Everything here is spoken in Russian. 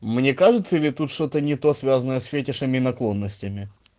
мне кажется или тут что-то не то связанное с фетишем и наклонностями